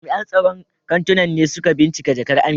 Jami'an tsaron kantunan ne suka binciki jakar Amina.